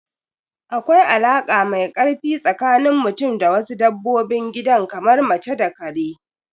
Akwai alaka mai ƙarfi tsakanin mutum da wasu dabbobin gidan kamar mace da ƙare.